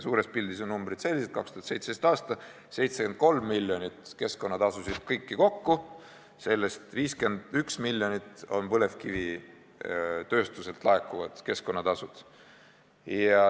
Suures pildis on numbrid sellised: 2017. aasta, 73 miljonit eurot keskkonnatasusid kokku, sellest 51 miljonit põlevkivitööstuselt laekunud keskkonnatasud.